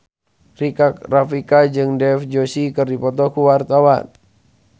Rika Rafika jeung Dev Joshi keur dipoto ku wartawan